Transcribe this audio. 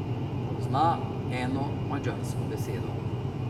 Pozna eno madžarsko besedo.